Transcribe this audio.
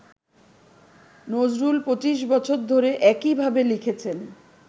নজরুল ‘পঁচিশ বছর ধরে’ একইভাবে লিখেছেন